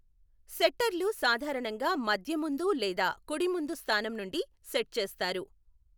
సెట్టర్లు సాధారణంగా మధ్య ముందు లేదా కుడి ముందు స్థానం నుండి సెట్ చేస్తారు.